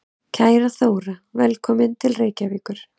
Kæra Þóra. Velkomin til Reykjavíkur.